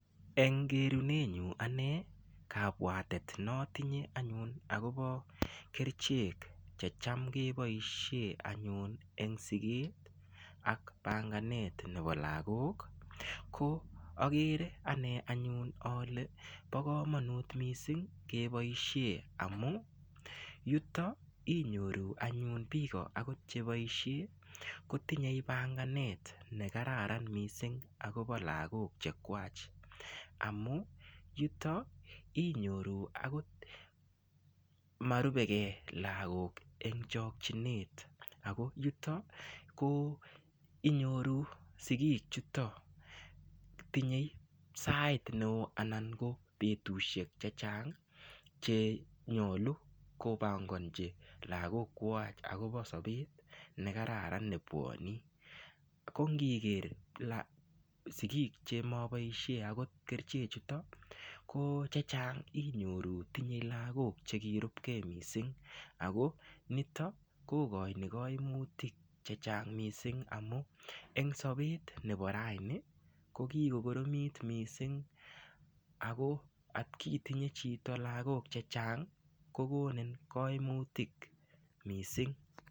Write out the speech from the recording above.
Eng kerunenyu ane kabwatet notinye anyun akobo kerchek checham keboishe anyun eng siket ak bangaet nebo lakok ko akere ane anyun ale bo komonut mising keboishe amu yuto inyoru anyun biko akot cheboishe kotinyei banganet nekararan mising akobo lakok che kwach amu yuto inyoru akot marubekee lakok ing chokchinet ako yuto ko inyoru sikiik chuto tinyei sait neo anan ko betushek che chang chenyolu kobongonchi lakok kwach akobo sobet nekararan nepuoni kongiker sikik chechang chemaboishe akot ko chechang inyoru tinyei lakok chekirupkei mising ako nitok kokoini kaimutik che chang mising amu eng' sobet nebo raini ko kikokoromit mising ako atkitinye chito lakok che chang kokonin kaimutik mising.